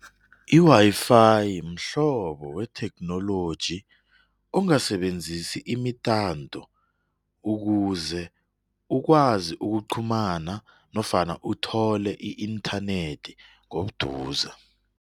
Iwayifayi mhlobo wetheknoloji ongasebenzisi imitanto ukuze ukwazi ukuqhumana nofana uthole i-inthanethi ngobuduze.